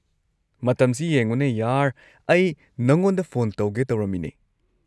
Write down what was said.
ꯃꯇꯝꯁꯤ ꯌꯦꯡꯉꯨꯅꯦ ꯌꯥꯔ, ꯑꯩ ꯅꯉꯣꯟꯗ ꯐꯣꯟ ꯇꯧꯒꯦ ꯇꯧꯔꯝꯃꯤꯅꯦ꯫